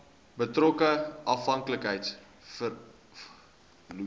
betrokke afhanklikheids vormende